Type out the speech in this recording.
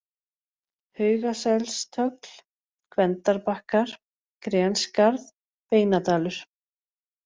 Haugaselstögl, Gvendarbakkar, Grenskarð, Beinadalur